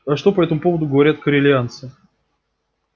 а что по этому поводу говорят корелианцы